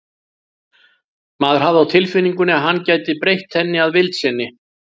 Maður hafði á tilfinningunni að hann gæti breytt henni að vild sinni.